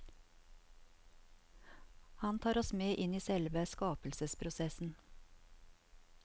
Han tar oss med inn i selve skapelsesprosessen.